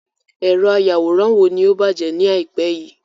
Èrọ ayàwòrán wo ni ó bàjẹ́ ni àìpé yìí.